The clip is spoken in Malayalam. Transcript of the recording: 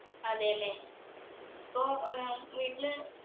അതെയല്ലേ ഇപ്പൊ ഏർ വീട്ടില്